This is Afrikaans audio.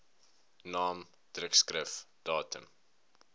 naam drukskrif datum